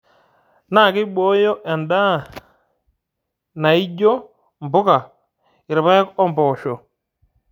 Naa keibooyo endaa naaijio mpuka, irpaek o mpoosho.